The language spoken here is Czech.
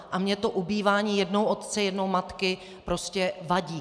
A mně to ubývání jednou otce, jednou matky prostě vadí.